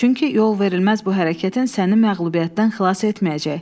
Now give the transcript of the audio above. Çünki yol verilməz bu hərəkətin səni məğlubiyyətdən xilas etməyəcək.